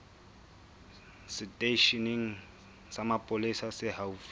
seteisheneng sa mapolesa se haufi